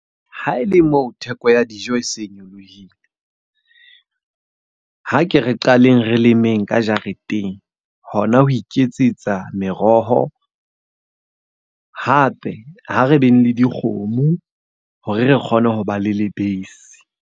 Ha ele moo theko ya dijo e se nyolohile. Ha ke re qaleng re lemeng ka jareteng. Hona ho iketsetsa meroho hape ha re beng le dikgomo hore re kgone ho ba le lebese.